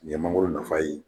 Nin ye mangoro nafa ye